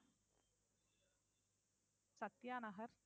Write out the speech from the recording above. Sathya Nagar